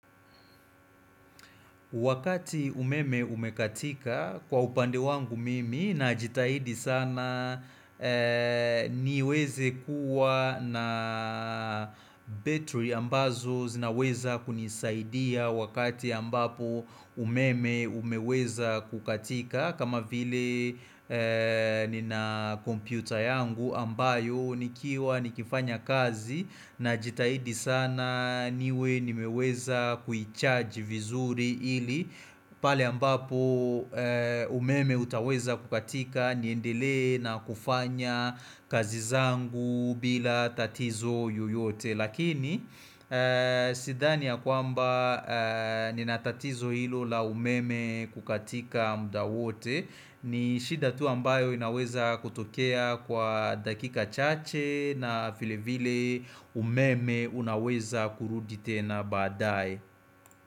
Wakati umeme umekatika kwa upande wangu mimi na jitahidi sana niweze kuwa na battery ambazo zinaweza kunisaidia wakati ambapo umeme umeweza kukatika kama vile nina kompyuta yangu ambayo nikiwa nikifanya kazi na jitahidi sana niwe nimeweza kuicharge vizuri hili pale ambapo umeme utaweza kukatika niendelee na kufanya kazi zangu bila tatizo yoyote Lakini sidhani ya kwamba nina tatizo ilo la umeme kukatika muda wote ni shida tu ambayo inaweza kutokea kwa dakika chache na filevile umeme unaweza kurudi tena badae.